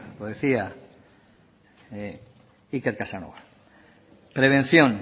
lo decía iker casanova prevención